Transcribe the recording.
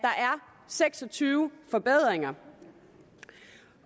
seks og tyve forbedringer